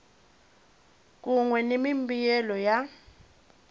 kun we ni mimbuyelo ya